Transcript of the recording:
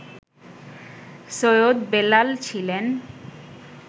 সৈয়দ বেলাল ছিলেন